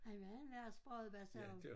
Han var en værre spradebasse ham